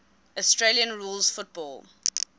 australian rules football